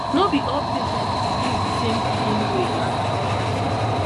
no be all patients believe the same healing way and na normal thing